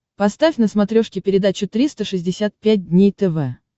поставь на смотрешке передачу триста шестьдесят пять дней тв